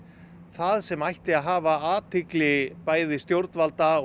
það sem ætti að hafa athygli bæði stjórnvalda